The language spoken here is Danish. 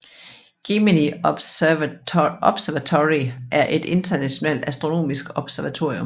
Gemini Observatory er et internationalt astronomisk observatorium